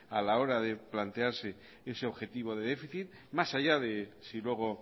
a la hora de plantearse ese objetivo de déficit más allá de si luego